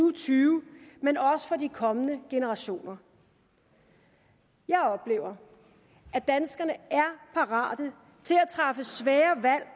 og tyve men også for de kommende generationer jeg oplever at danskerne er parate til at træffe svære valg